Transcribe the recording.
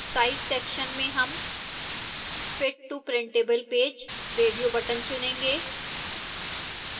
size section में हम fit to printable page radio button चुनेंगे